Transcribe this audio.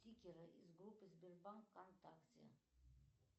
стикеры из группы сбербанк вконтакте